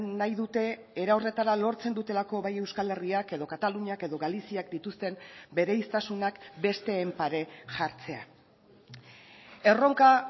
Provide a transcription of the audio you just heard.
nahi dute era horretara lortzen dutelako bai euskal herriak edo kataluniak edo galiziak dituzten bereiztasunak besteen pare jartzea erronka